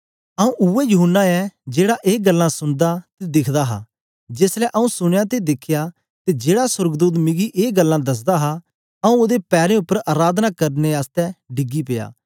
आऊँ उवै यूहन्ना ऐ जेहड़ा ऐ गल्लां सुनदा ते दिखदा हा जेसलें आऊँ सुनया ते दिखया ते जेड़ा सोर्गदूत मिकी ए गल्लां दसदा हा आऊँ ओदे पैरें उपर अराधना करने आसतै डिगी गीया